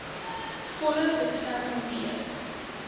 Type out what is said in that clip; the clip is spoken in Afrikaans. volle beskerm wees